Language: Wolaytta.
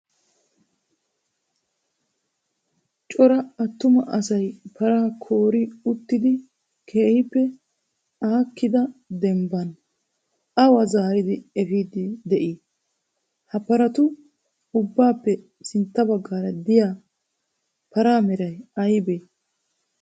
Cora attuma asy paraa koori toggidi keehippe aakkida dembban awa zaaridi efiiddi de'ii? Ha paratu ubbappe sintta baggaara diyaa paraa meray aybee?